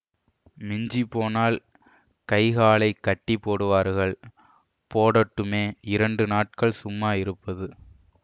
மிஞ்சி போனால் கைகாலைக் கட்டி போடுவார்கள் போடட்டுமே இரண்டு நாட்கள் சும்மா இருப்பது